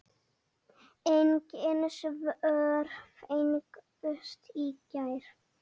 Engin svör fengust í gær.